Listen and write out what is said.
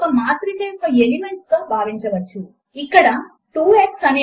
screen మీద ఉన్న సమీకరణములను గమనించండి మరియు అవి ఈక్వల్ టు కారెక్టర్ పైన ఎలైన్ చేయబడి లేవు